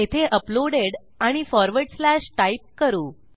येथे अपलोडेड आणि forward slash type करू